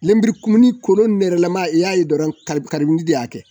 Lemurukumunin kolo nɛlɛma i y'a ye dɔrɔn de y'a kɛ.